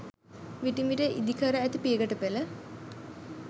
විටින් විට ඉදිකැර ඇති පියගැටපෙළ